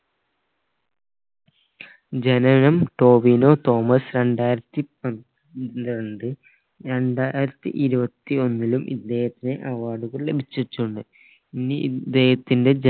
ജനനം ടോവിനോ തോമസ് രണ്ടായിരത്തി പ് പന്ത്രണ്ട് രണ്ടായിരത്തി ഇരുവതി ഒന്നിലും ഇദ്ദേഹത്തിന് award കൾ ലഭിച്ചിട്ടുണ്ട് ഇനി ഇദ്ദേഹത്തിന്റെ